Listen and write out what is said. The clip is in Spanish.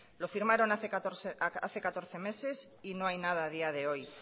lo firmaron hace catorce meses y no hay nada a día de hoy